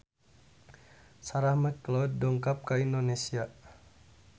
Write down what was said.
Sarah McLeod dongkap ka Indonesia